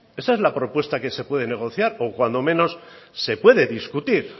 esa es la propuesta que se puede negociar o cuando menos se puede discutir